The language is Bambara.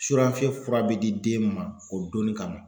Suranfiyen fura be di den ma o donni kama.